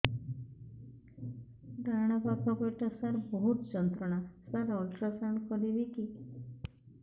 ଡାହାଣ ପାଖ ପେଟ ସାର ବହୁତ ଯନ୍ତ୍ରଣା ସାର ଅଲଟ୍ରାସାଉଣ୍ଡ କରିବି କି